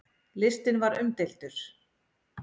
Listinn var umdeildur.